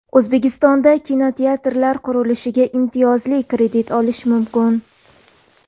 O‘zbekistonda kinoteatrlar qurilishiga imtiyozli kredit olish mumkin.